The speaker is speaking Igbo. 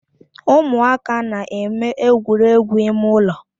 Ụmụaka na-eme egwuregwu ime ụlọ